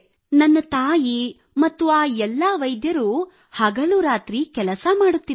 ನನ್ನ ತಾಯಿ ಮತ್ತು ಆ ಎಲ್ಲ ವೈದ್ಯರು ಅವರೂ ಹಗಲು ರಾತ್ರಿ ಕೆಲಸ ಮಾಡುತ್ತಿದ್ದಾರೆ